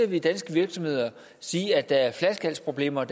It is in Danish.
vi danske virksomheder sige at der er stigende flaskehalsproblemer